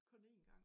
Kun én gang